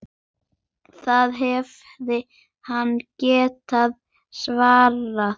Það hefði hann getað svarið.